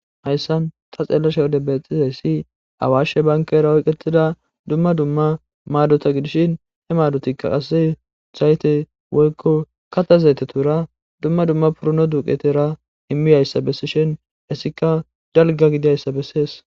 Hayssan ta xeellashe wode bexizayssi awaashe bankara oyqetida dumma dumma maadota gidishin he maadotikka qase zayte woykko kata zayte tuura dumma dumma purno duqetera himmi yayssa bessishin essika jalga gidiyayssa bessees.